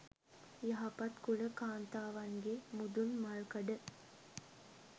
යහපත් කුල කාන්තාවන්ගේ මුදුන්මල්කඩ